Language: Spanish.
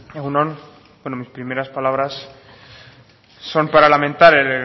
egun on mis primeras palabras son para lamentar el